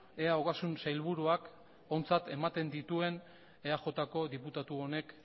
ea ogasun sailburuak ontzat ematen dituen eajko diputatu honek